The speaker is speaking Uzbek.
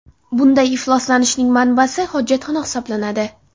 Bunday ifloslanishning manbasi hojatxona hisoblanadi.